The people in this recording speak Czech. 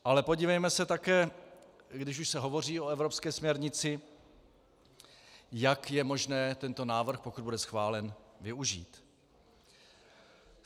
Ale podívejme se také, když už se hovoří o evropské směrnici, jak je možné tento návrh, pokud bude schválen, využít.